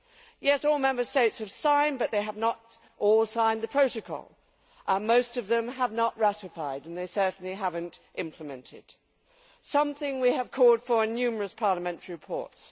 Yes, all Member States have signed, but they have not all signed the protocol. Most of them have not ratified, and they certainly have not implemented something we have called for in numerous parliamentary reports.